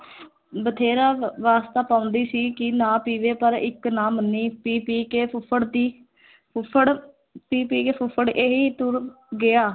ਬਥੇਰਾ ਵ ਵਾਸਤਾ ਪਾਉਂਦੀ ਸੀ ਕਿ ਨਾ ਪੀਵੇ ਪਰ ਇੱਕ ਨਾ ਮੰਨੀ, ਪੀ ਪੀ ਕੇ ਫੁੱਫੜ ਦੀ ਫੁੱਫੜ ਪੀ ਪੀ ਕੇ ਫੁੱਫੜ ਇਹੀ ਤੁਰ ਗਿਆ।